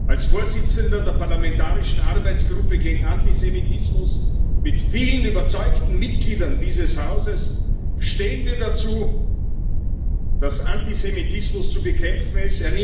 Als Vorsitzender der parlamentarischen Arbeitsgruppe gegen Antisemitismus, mit vielen überzeugten Mitgliedern dieses Hauses, stehen wir dazu, dass Antisemitismus zu bekämpfen ist.